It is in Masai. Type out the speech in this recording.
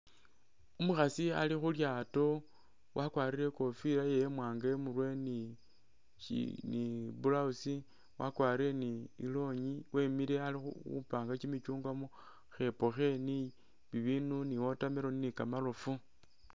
Umukhasi ali khu lyato wakwarile i'kofila yewe imwaanga i'murwe ni blouse, wakwarire ni i'longi wemile ali khupanga kyimicyungwa mu khepo khe ni bibindu ni watermelon ni kamarofu.